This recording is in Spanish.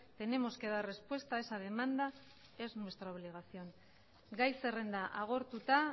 tenemos que dar respuesta a esa demanda es nuestra obligación gai zerrenda agortuta